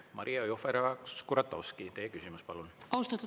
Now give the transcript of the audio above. Maria Jufereva-Skuratovski, teie küsimus, palun!